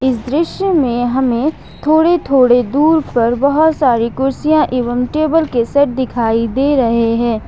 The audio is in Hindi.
इस दृश्य में हमें थोड़े थोड़े दूर पर बहुत सारी कुर्सियां एवं टेबल के सेट दिखाई दे रहे हैं।